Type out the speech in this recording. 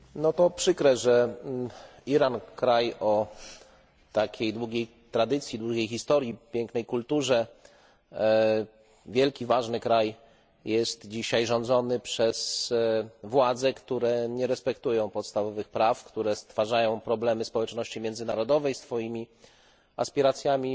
To przykre, że Iran kraj o takiej długiej tradycji, długiej historii, pięknej kulturze, wielki, ważny kraj jest dzisiaj rządzony przez władze, które nie respektują podstawowych praw, które stwarzają problemy społeczności międzynarodowej swoimi aspiracjami